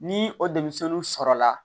Ni o denmisɛnninw sɔrɔla